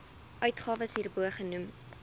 uitgawes hierbo genoem